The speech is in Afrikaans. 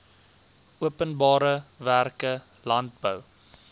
openbare werke landbou